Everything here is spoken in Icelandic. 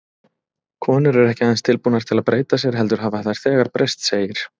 Konur eru ekki aðeins tilbúnar til að breyta sér, heldur hafa þær þegar breyst, segir